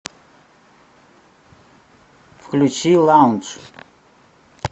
включи лаундж